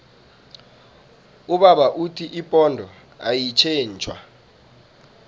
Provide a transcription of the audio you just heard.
ubaba uthi ipondo ayitjentjwa